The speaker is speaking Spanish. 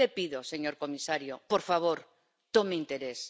Yo le pido, señor comisario, por favor, tome interés.